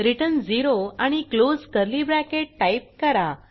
return 0 आणि close curly bracket type करा